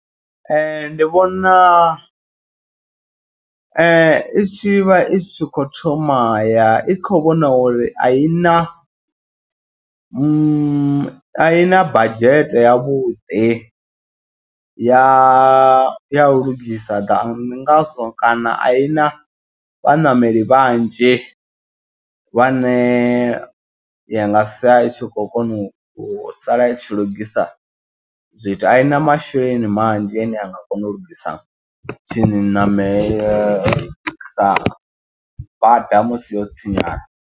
Ndi vhona itshi vha i tshi kho thoma ya i kho vhona uri a i na aina badzhete yavhuḓi ya ya u lugisa gan . Ndi ngazwo kana a i na vhaṋameli vhanzhi vhane ya nga sia i tshi khou kona u u sala i tshi lugisa zwithu. A i na masheleni manzhi ane a nga kona u lugisa tshiṋamelo u lungisa bada musi yo tshinyala.